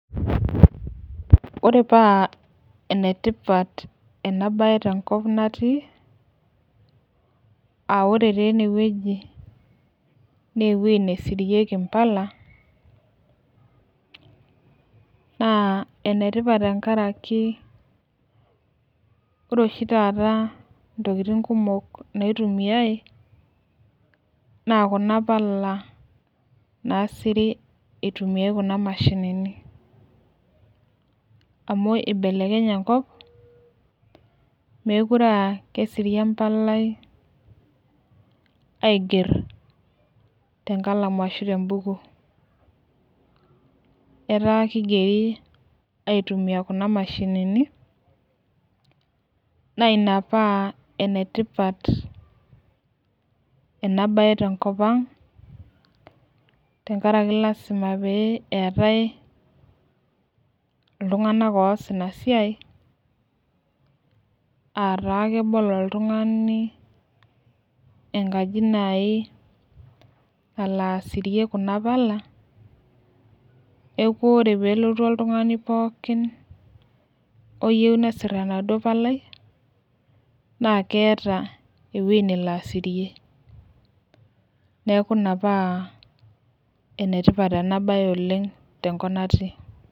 Ore paa enetipat ena bae tenkop natii, ore taa ene wueji naa ewueji nemirieki mpala. ore oshi taata ntokitin kumok naitumiae, naa Kuna pala naasiri itumiae Kuna mashinni. amu ibelekenye enkop, meekure aa kesiri empalai aigero, tenkalamu ashu te bukui. etaa kigeri aitumia Kuna mashini, Naina paa ene tipat ena bae tenkop ang. tenkaraki lasima pee eetae iltunganak oos Ina siai.aa taa kebolo oltungani enkaji naaji nalo asirie Kuna pala neeku ore peelotu oltungani pookin oyieu nesir enaduoo palai. naa keeta ewueji nelo asirie. neeku ina paa ene tipat ena bae oleng.te nkop natii